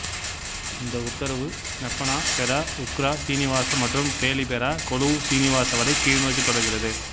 இந்த உத்தரவு ஸ்னப்பனா பெரா உக்ரா சீனிவாச மற்றும் பேலி பெரா கொலுவ் சீனிவாச வரை கீழ்நோக்கி தொடர்கிறது